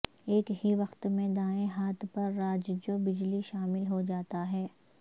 ایک ہی وقت میں دائیں ہاتھ پر راج جو بجلی شامل ہو جاتا ہے